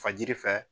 Fajiri fɛ